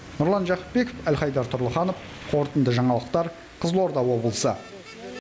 нұрлан жақыпбеков әлхайдар тұрлыханов қорытынды жаңалықтар қызылорда облысы